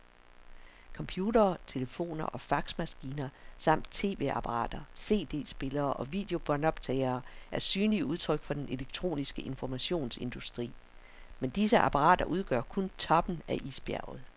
Computere, telefoner og faxmaskiner samt tv-apparater, cd-spillere og videobåndoptagere er synlige udtryk for den elektroniske informationsindustri, men disse apparater udgør kun toppen af isbjerget.